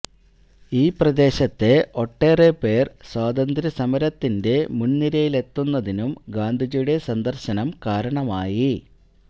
ഈ പ്രദേശത്തെ ഒട്ടേറെ പേര് സ്വാതന്ത്രസമരത്തിന്റെ മുന്നിരയിലെത്തുന്നതിനും ഗാന്ധിജിയുടെ സന്ദര്ശനം കാരണമായി